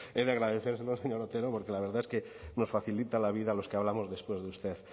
es de agradecérselo señor otero porque la verdad es que nos facilita la vida a los que hablamos después de usted